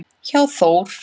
hjá Þór.